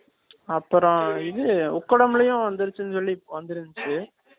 அப்புறம் இது உக்கடம்ளையும் வந்திருச்சு னு சொல்லி வந்திருஞ்சு